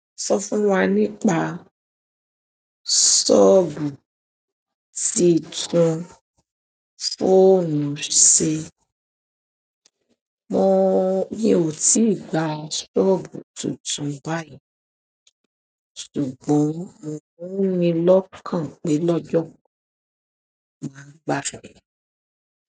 Sọ fún wa nípa ṣóòbù títun fóònù ṣe. Mọ̀ ò tí gba ṣóòbù tuntun báyìí ṣùgbọ́n mo n ní lọ́kàn pé lọ́jọ́ kan máa gbà soobu.